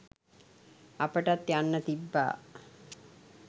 අපටත් යන්න තිබ්බා